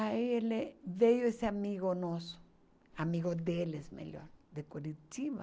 Aí ele veio esse amigo nosso, amigo deles, melhor, de Curitiba,